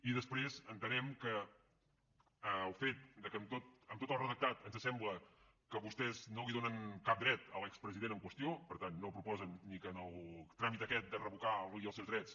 i després entenem que el fet que en tot el redactat ens sembla que vostès no li donen cap dret a l’expresident en qüestió i per tant no proposen ni que en el tràmit aquest de revocar li els seus drets